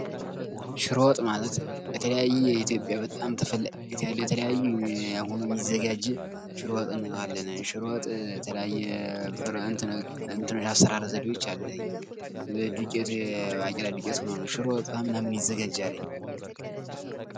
ሽሮ ወጥ ማለት የተለያዩ የኢትዮጵያ በጣም ተፈላጊነት ያለው የተለያየ ሆኖ የሚዘጋጅ ሽሮ ወጥ እንለዋለን። ሽሮ ወጥ የተለያየ የአሰራር ዘዴዎች አሉት። ዱቄቱ የበቂላ ዱቄት ሆኖ ነው ።ሽሮ ወጥ ከምን ከምን ይዘጋጃል?